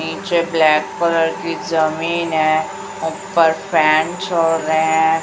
नीचे black colour की जमीन है ऊपर फैन चल रहे हैं।